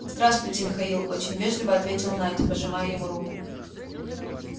здравствуйте михаил очень вежливо ответил найд пожимая ему руку